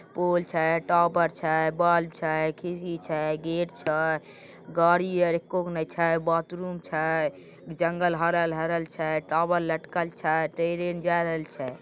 Pole छय टोबर छय बल्ब छय खेती छई गेट छई गाडी और एककोकणी छय बाथरूम छय जंगल हरल हरल छय टॉवल लटकल छय ट्रेन जा रहल छय।